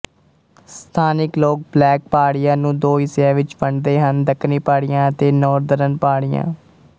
ਸਥਾਨਿਕ ਲੋਕ ਬਲੈਕ ਪਹਾੜੀਆਂ ਨੂੰ ਦੋ ਹਿੱਸਿਆਂ ਵਿੱਚ ਵੰਡਦੇ ਹਨ ਦੱਖਣੀ ਪਹਾੜੀਆਂ ਅਤੇ ਨੌਰਦਰਨ ਪਹਾੜੀਆਂ